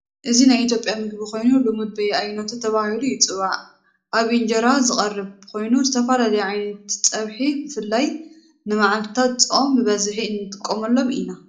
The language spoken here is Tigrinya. እዚ ናይ ኢትዮጵያ ምግቢ ኮይኑ ልሙድ በየአይነቱ ተባሂሉ ይጽዋዕ። ኣብ ኢንጀራ ዝቐርብ ኮይኑ ዝተፈላለዩ ዓይነት ፀብሒ ብፍላይ ንመዓልታት ፆም ብብዚሒ እንጥቀመሎም ኢና።